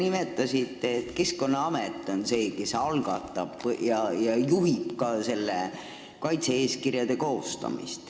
Te nimetasite, et Keskkonnaamet on see, kes algatab kaitse-eeskirja koostamise ja ka juhib seda tööd.